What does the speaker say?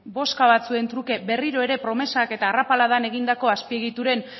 bozka batzuen truke berriro ere promesak eta arrapaladan egindako azpiegituren